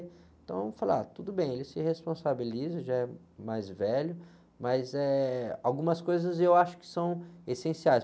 Então, eu falo, ah, tudo bem, ele se responsabiliza, já é mais velho, mas, eh, algumas coisas eu acho que são essenciais.